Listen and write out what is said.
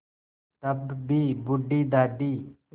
तब भी बूढ़ी दादी